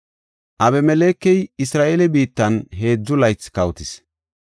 Abimelekey Isra7eele biittan heedzu laythi kawotis.